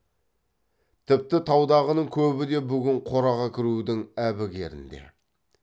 тіпті таудағының көбі де бүгін қораға кірудің әбігерінде